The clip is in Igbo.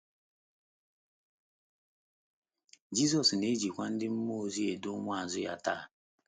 Jizọs na - ejikwa ndị mmụọ ozi edu ụmụazụ ya taa.